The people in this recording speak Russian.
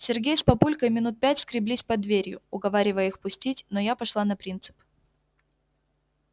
сергей с папулькой минут пять скреблись под дверью уговаривая их пустить но я пошла на принцип